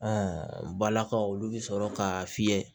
balakaw olu bɛ sɔrɔ k'a fiyɛ